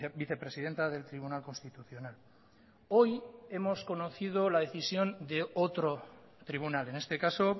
vicepresidenta del tribunal constitucional hoy hemos conocido la decisión de otro tribunal en este caso